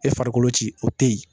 E farikolo ci o tɛ yen